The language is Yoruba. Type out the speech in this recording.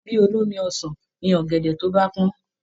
Bí olómi ọsàn ni ọ̀gẹ̀dẹ̀ tó bá pọ́n